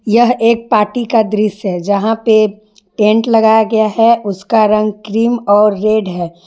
यह एक पार्टी का दृश्य है जहां पे टेंट लगाया गया है उसका रंग क्रीम और रेड है।